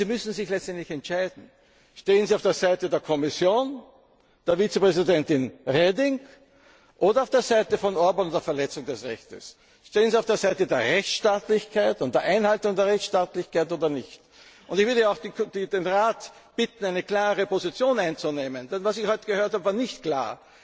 haben. Aber Sie müssen sich letztendlich entscheiden Stehen Sie auf der Seite der Kommission, der Vizepräsidentin Reding, oder auf der Seite von Orbán und der Verletzung des Rechts? Stehen Sie auf der Seite der Rechtsstaatlichkeit und der Einhaltung der Rechtsstaatlichkeit oder nicht? Ich würde auch den Rat bitten, eine klare Position einzunehmen. Denn was ich heute gehört habe, war